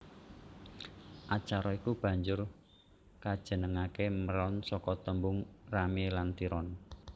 Acara iku banjur kajenengake Meron saka tembung rame lan tiron